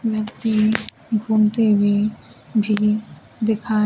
व्यक्ति घूमती हुई भी दिखाई--